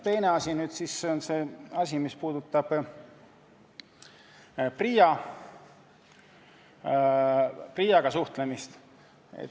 Teine asi on see, mis puudutab PRIA-ga suhtlemist.